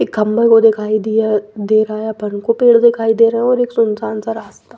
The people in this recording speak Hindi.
एक खम्भे को दिखाई दिया दे रहा है अपन को पेड़ दिखाई दे रहे हैं और एक सुनसान सा रास्ता--